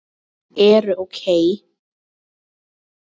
eru OK!